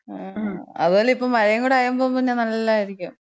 അതുപോലെ ഇപ്പം മഴയും കൂടെ ആയപ്പം പിന്നെ നല്ലായിരിക്കും.